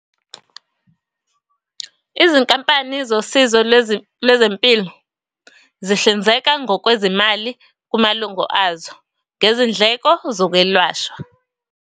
Izinkampani zosizo lwezempilo zihlinzeka ngokwezimali kumalungo azo ngezindleko zokwelashwa.